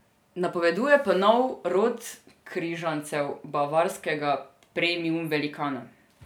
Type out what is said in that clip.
Napoveduje pa nov rod križancev bavarskega premium velikana.